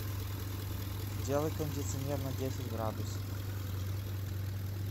сделай кондиционер на десять градусов